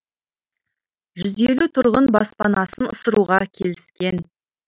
жүз елу тұрғын баспанасын ысыруға келіскен